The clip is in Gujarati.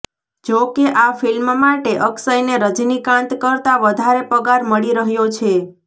જોકે આ ફિલ્મ માટે અક્ષયને રજનીકાંત કરતા વધારે પગાર મળી રહ્યો છે